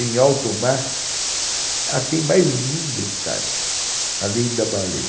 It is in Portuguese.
Em alto mar, tem mais um detalhe, além da baleia.